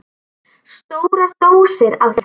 Stórar dósir af þeim.